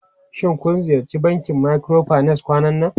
Shin kun ziyarci bankin microfinance kwanan nan?